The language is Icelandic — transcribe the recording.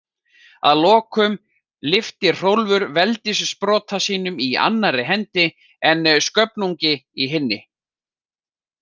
Að lokum lyfti Hrólfur veldissprota sínum í annarri hendi en Sköfnungi í hinni.